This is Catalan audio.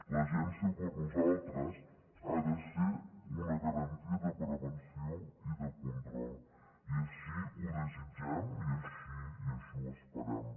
l’agència per nosaltres ha de ser una garantia de prevenció i de control i així ho desitgem i així ho esperem